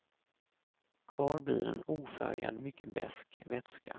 Kvar blir en ofärgad, mycket besk vätska.